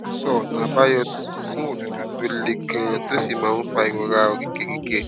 sọ ọnààbáyọ fún òtútù tó le ganan tó sì máa ń fa ìrora oríkèéríkèé